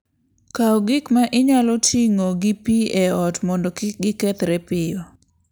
Kaw gik ma inyalo ting'o gi pi e ot mondo kik gikethre piyo.